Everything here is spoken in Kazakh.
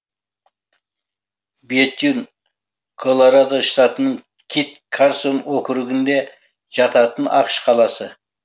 бетюн колорадо штатының кит карсон округінде жататын ақш қаласы